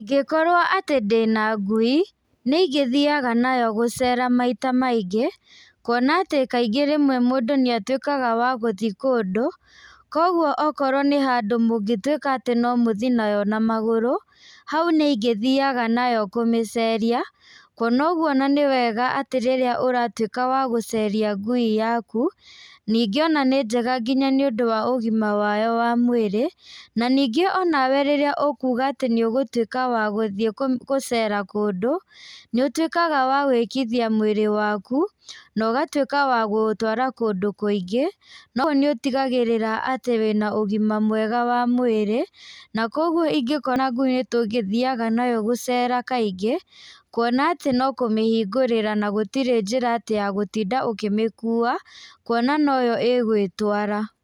Ingĩkorwo atĩ ndĩna ngui, nĩingĩthiaga nayo gũcera maita maingĩ, kuona atĩ kaingĩ rĩmwe mũndũ nĩatwĩkaga wa gũthi kũndũ, koguo okorwo nĩ handũ mũngĩtwĩka atĩ nomũthi nayo na magũrũ, hau nĩingĩthiaga nayo kũmĩceria, kuona ũguo ona nĩ wega atĩ rĩrĩa ũratwĩka wa gũceria ngui yaku, ningĩ ona nĩ njega nginya nĩũndũ wa ũgima wayo wa mwĩrĩ, naningĩ onawe rĩrĩa ũkuga atĩ nĩũgũtwĩka wa gũthiĩ kũ gũcera kũndũ, níũtwĩkaga wa gwĩkithia mwĩrĩ waku nogatwĩka wa kũũtwara kũndũ kũingĩ, noũ níũtigagĩrĩra atĩ wĩna ũgima mwega wa mwĩrĩ, na koguo ingĩkorwo na ngui tũngĩthiaga nayo gũcera kaingĩ, kuona atĩ nokũmĩhingũrĩra na gũtirĩ njĩra atĩ ya gũtinda ũkĩmĩkua, kuona noyo ĩgwĩtwara.